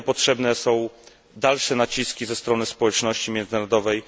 Dlatego potrzebne są dalsze naciski ze strony społeczności międzynarodowej.